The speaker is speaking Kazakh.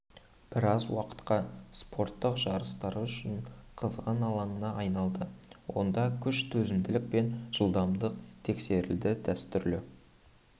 біраз уақытқа спорттық жарыстары үшін қызған алаңына айналды онда күш төзімділік пен жылдамдық тексерілді дәстүрлі